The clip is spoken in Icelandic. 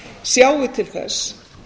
sjái til þess